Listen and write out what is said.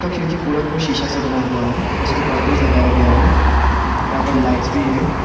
ऊपर का खिड़की पूरा शीशा से बना हुआ है उसपे कर्टेंस लगाया गया है यहा पर लाईटस भी है।